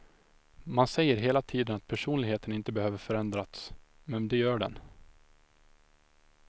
Man säger hela tiden att personligheten inte behöver förändrats, men det gör den.